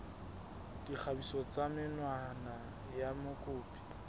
dikgatiso tsa menwana ya mokopi